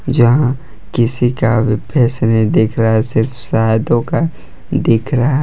यहां किसी का भी फेस नहीं दिख रहा है सिर्फ साधु का दिख रहा है।